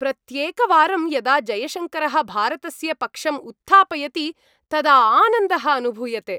प्रत्येकवारं यदा जयशङ्करः भारतस्य पक्षम् उत्थापयति, तदा आनन्दः अनुभूयते।